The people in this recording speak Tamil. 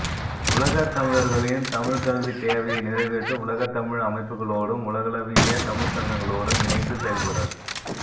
உலகத் தமிழர்களின் தமிழ்க்கல்வித் தேவையை நிறைவேற்ற உலகத்தமிழ் அமைப்புகளோடும் உலகளவிய தமிழ்ச்சங்கங்களோடும் இணைந்து செயல்படல்